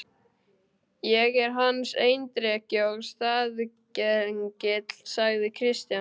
Ég er hans erindreki og staðgengill, sagði Christian.